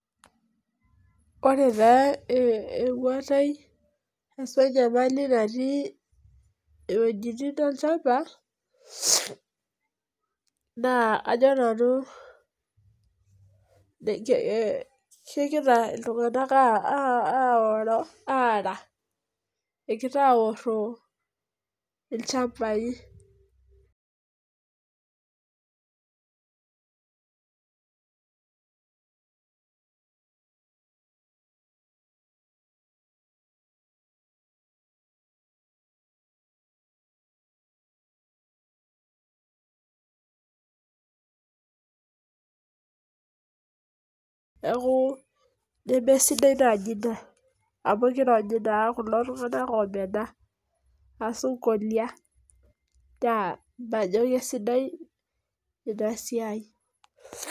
Ore taa ewuatai ashu inyamali natii wuejitin olchamba naa ajo nanu kegira ltungana aoro, aara agira aoro ilchambai, naaku nemesidai naaji ina amuu keitanyamal naa kulo tunganak oomena ashu inkolia naa majo kesidai ina siai.